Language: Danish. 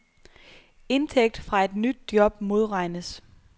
Indtægt fra et nyt job modregnes.